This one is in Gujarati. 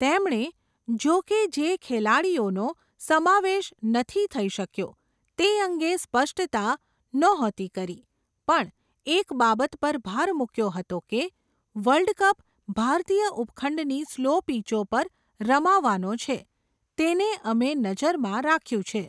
તેમણે, જોકે જે ખિલાડીયોનો, સમાવેશ નથી થઇ શક્યો, તે અંગે સ્પષ્ટતા ન્હોતી કરી, પણ એક બાબત પર ભાર મૂક્યો હતો કે, વર્લ્ડ કપ ભારતીય ઉપખંડની સ્લો પીચો પર રમાવાનો છે, તેને અમે નજરમાં રાખ્યું છે.